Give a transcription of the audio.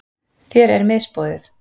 Þér er misboðið.